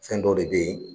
Fɛn dɔw de bɛ ye